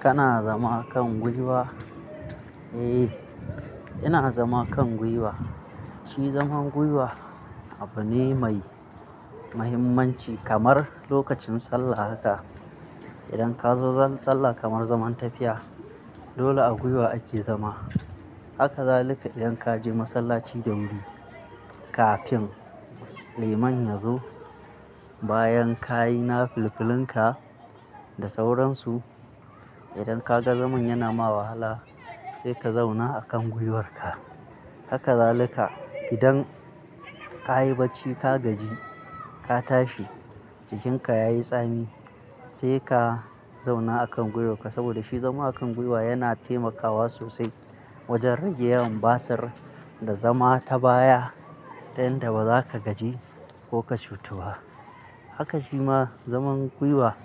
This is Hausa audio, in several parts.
Kana zama kan gwiwa? Eh, ina zama kan gwiwa. Shi zaman gwiwa abu ne mai mahimmanci kamar lokacin sallah haka. Idan ka zo sallah kaman zaman tafiya, dole a gwiwa ake zama. Haka zalika idan ka je masallaci da wuri, kafin liman ya zo. Bayan ka yi na filfilunka da sauransu. Idan ka ga zaman yana ma wahala, sai ka zauna a kan gwiwarka. Haka zalika idan ka yi bacci ka gaji ka tashi jikinka ya yi tsami, sai ka zauna a kan gwiwarka saboda shi zama a kan gwiwa yana taimakawa sosai wajen rage yawan basir da zama ta baya, ta yanda ba za ka gaji ko ka cutu ba. Haka shi ma zaman gwiwa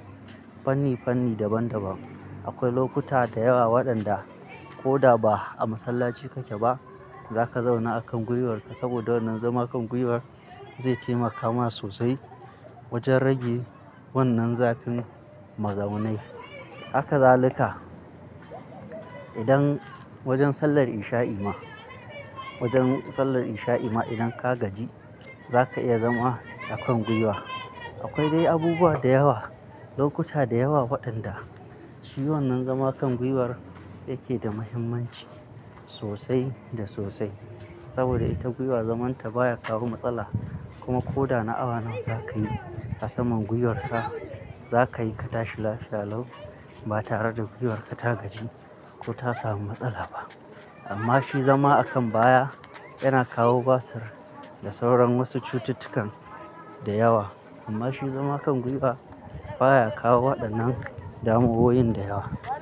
fanni-fanni daban-daban. Akwai lokuta da yawa waɗanda ko da ba a masallaci kake ba, za ka zauna a kan gwiwarka saboda wannan zama kan gwiwar zai taimaka ma sosai wajen rage wannan zafin mazaunai. Haka zalika idan wajen sallar insha'i ma, wajen sallar insha'i ma idan ka gaji, za ka iya zama a kan gwiwa. Akwai dai abubuwa da yawa, lokuta da yawa waɗanda shi wannan zama kan gwiwar yake da mahimmanci sosai da sosai. Saboda ita gwiwa zaman ta baya kawo matsala, kuma ko da na awa nawa za ka yi a saman gwiwarka, za ka yi ka tashi lafiya lau ba tare da gwiwarka ta gaji ko ta samu matsala ba. Amma shi zama a kan baya yana kawo basir da sauran wasu cututtukan da yawa. Amma shi zama kan gwiwa baya kawo waɗannan damuwoyin da yawa.